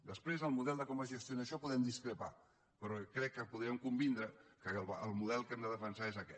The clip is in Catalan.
després en el model de com es gestiona això podem discrepar però crec que podrem convindre que el model que hem de defensar és aquest